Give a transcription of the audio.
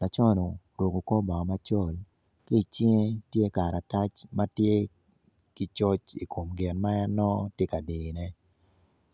Laco no oruko kor bongo macol ki icinge tye karatac ma tye ki coc i kom gin ma nongo en tye ka diyone